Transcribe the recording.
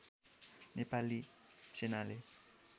नेपाली सेनाले